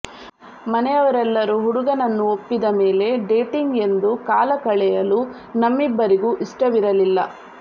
ಮನೆಯವರೆಲ್ಲರೂ ಹುಡುಗನನ್ನು ಒಪ್ಪಿದ ಮೇಲೆ ಡೇಟಿಂಗ್ ಎಂದು ಕಾಲಕಳೆಯಲು ನಮ್ಮಿಬ್ಬರಿಗೂ ಇಷ್ಟವಿರಲಿಲ್ಲ